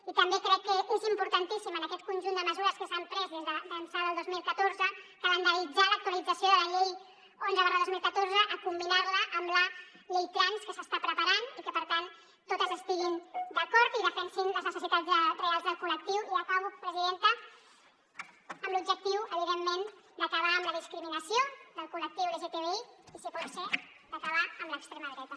i també crec que és importantíssim en aquest conjunt de mesures que s’han pres d’ençà del dos mil catorze calendaritzar l’actualització de la llei onze dos mil catorze combinar la amb la llei trans que s’està preparant i que per tant totes estiguin d’acord i defensin les necessitats reals del col·lectiu i acabo presidenta amb l’objectiu evidentment d’acabar amb la discriminació del col·lectiu lgtbi i si pot ser d’acabar amb l’extrema dreta